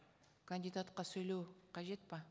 кандидатқа сөйлеу қажет пе